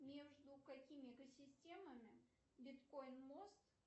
между какими экосистемами биткоин мост